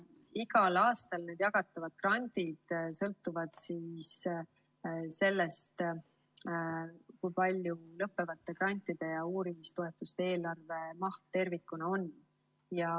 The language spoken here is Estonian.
Igal aastal jagatavad grandid sõltuvad sellest, kui suur on lõppevate grantide ja uurimistoetuste eelarvemaht tervikuna.